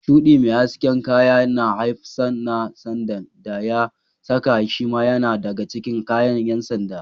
Shuɗi mai hasken kayan da hafsan ɗan sandan da ya saka shima yana daga cikin kayan ƴan sanda.